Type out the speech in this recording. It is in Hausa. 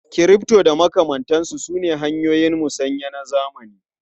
Crypto da makamantansu sune hanyoyin musanya na zamani.